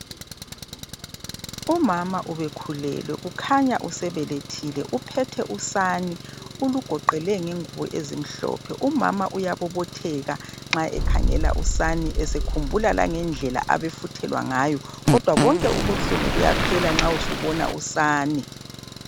Umama ubekhulelwe. Kukhanya usebelethile. Uphethe usani. Ulugoqele ngengubo ezimhlophe. Umama uyabobotheka, nxa ekhangela usani esekhumbula langendlela abefuthelwa ngayo, kodwa. phela bonke ubuhlungu buyaphela nxa esebona usani.